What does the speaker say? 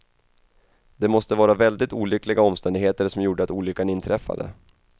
Det måste vara väldigt olyckliga omständigheter som gjorde att olyckan inträffade.